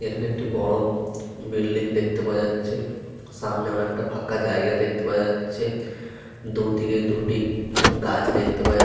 এখানে একটি বড় বিল্ডিং দেখতে পাওয়া যাচ্ছে। সামনে অনেকটা ফাঁকা জায়গা দেখতে পাওয়া যাচ্ছে। দুদিকে দুটি গাছ দেখতে পাওয়া যা --